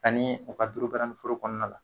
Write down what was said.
Kani a ka dɔrɔbaranin furu kɔnɔna la.